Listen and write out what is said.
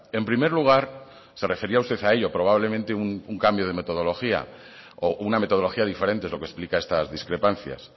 en primer lugar se refería usted a ello probablemente un cambio de metodología o una metodología diferente es lo que explica estas discrepancias